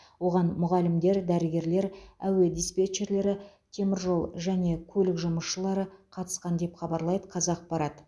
оған мұғалімдер дәрігерлер әуе диспетчерлері теміржол және көлік жұмысшылары қатысқан деп хабарлайды қазақпарат